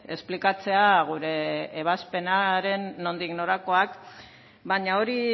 esplikatzea gure ebazpenaren nondik norakoak baina hori